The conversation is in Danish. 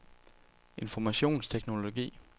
informationsteknologi